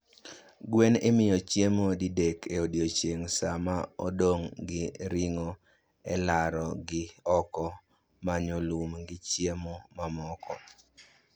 Gwen imiyo chiemo didek e odiechieng' saa ma odong' gi ringo e laro gi oko manyo lum gi chiemo mamoko